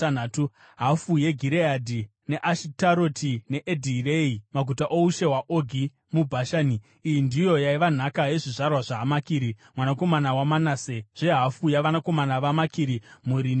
hafu yeGireadhi, neAshitaroti neEdhirei, (maguta oushe hwaOgi muBhashani). Iyi ndiyo yaiva nhaka yezvizvarwa zvaMakiri mwanakomana waManase, zvehafu yavanakomana vaMakiri, mhuri nemhuri.